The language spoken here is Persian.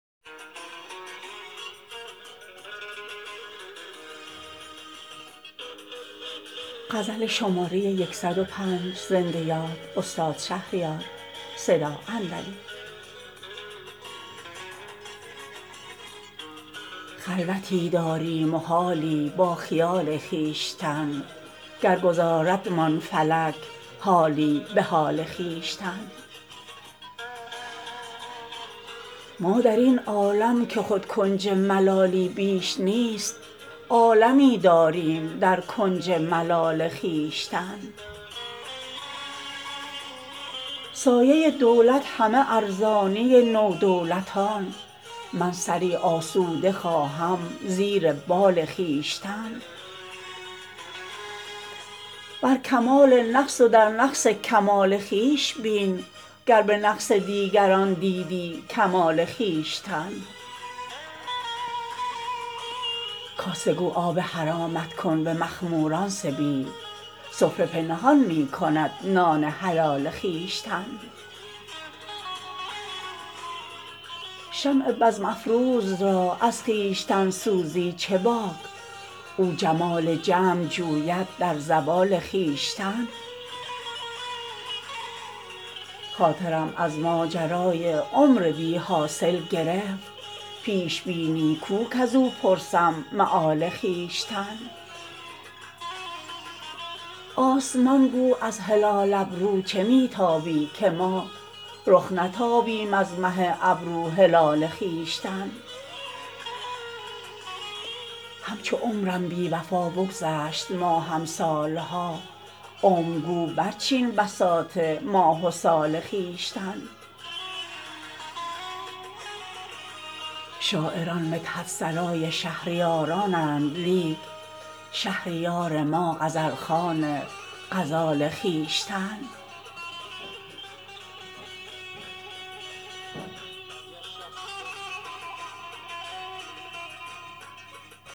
خلوتی داریم و حالی با خیال خویشتن گر گذاردمان فلک حالی به حال خویشتن ما در این عالم که خود کنج ملالی بیش نیست عالمی داریم در کنج ملال خویشتن سایه دولت همه ارزانی نودولتان من سری آسوده خواهم زیر بال خویشتن شکر ایزد شاهد بخت جمیل عاشقان کرده روشن عالم از نور جمال خویشتن بر کمال نقص و در نقص کمال خویش بین گر به نقص دیگران دیدی کمال خویشتن دست گیر آن را که نبود با کسش روی سوال تا نگیری دست بر روی سوال خویشتن دوست گو نام گناه ما مبر کز فعل خویش بس بود ما را عذاب انفعال خویشتن کاسه گو آب حرامت کن به مخموران سبیل سفره پنهان می کند نان حلال خویشتن شمع بزم افروز را از خویشتن سوزی چه باک او جمال جمع جوید در زوال خویشتن خاطرم از ماجرای عمر بی حاصل گرفت پیش بینی کو کز او پرسم مآل خویشتن آسمان گو از هلال ابرو چه می تابی که ما رخ نتابیم از مه ابرو هلال خویشتن اعتدال قامت رعناقدان از حد گذشت تا نگه داری تو حد اعتدال خویشتن همچو عمرم بی وفا بگذشت ماهم سالها عمر گو برچین بساط ماه و سال خویشتن شاعران مدحت سرای شهریارانند لیک شهریار ما غزل خوان غزال خویشتن